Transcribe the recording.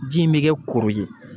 Ji in mi kɛ kuru ye